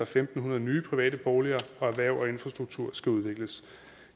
fem hundrede nye private boliger og erhverv og infrastruktur skal udvikles